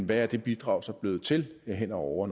hvad det bidrag så er blevet til hen over